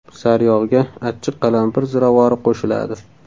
Sariyog‘ga achchiq qalampir ziravori qo‘shiladi.